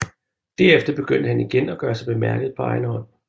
Derefter begyndte han at gøre sig bemærket på egen hånd